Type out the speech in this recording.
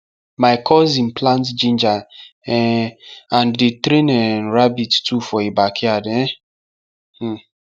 my cousine plant giner um and dey train um rabbit too for e backyard um